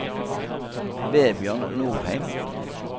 Vebjørn Nordheim